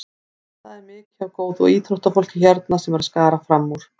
Það er mikið af góðu íþróttafólki hérna sem er að skara fram úr.